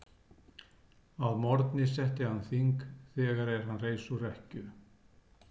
Að morgni setti hann þing þegar er hann reis úr rekkju.